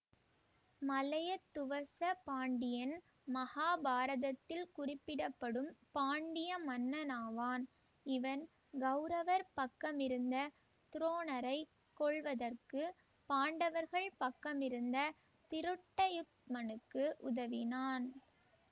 மலையத்துவச பாண்டியன் மகாபாரதத்தில் குறிப்பிடப்படும் பாண்டிய மன்னனாவான் இவன் கௌரவர் பக்கமிருந்த துரோணரை கொள்வதற்கு பாண்டவர்கள் பக்கமிருந்த திருட்டயுத்மனுக்கு உதவினான்